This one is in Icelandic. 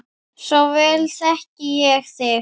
Svo vel þekki ég þig.